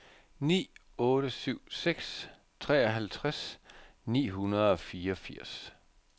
ni otte syv seks treoghalvtreds ni hundrede og fireogfirs